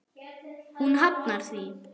Hún hafnar því.